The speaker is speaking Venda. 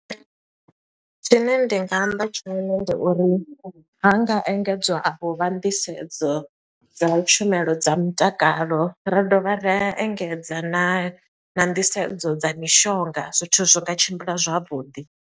Tshine ndi nga amba tshone ndi uri, ha nga engedzwa avho vha nḓisedzo dza tshumelo dza mutakalo. Ra dovha ra engedza na na nḓisedzo dza mishonga, zwithu zwi nga tshimbila zwavhuḓi.